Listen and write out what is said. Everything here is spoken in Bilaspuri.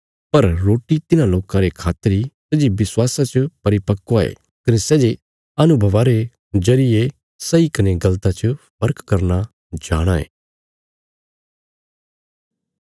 पर रोटी तिन्हां लोकां रे खातर इ सै जे विश्वासा च परिपक्व ये कने सै जे अनुभवा रे जरिये सही कने गल़ता च फर्क करना जाणाँ ये